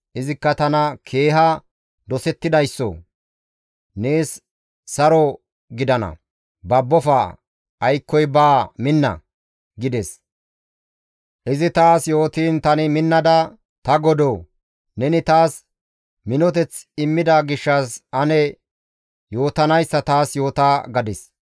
Izikka tana, «Keeha dosettidayssoo! Nees saro gidana; babbofa aykkoy baa minna!» gides. Izi taas yootiin tani minnada, «Ta godoo! Neni taas minoteth immida gishshas ane ne yootanayssa taas yoota!» gadis.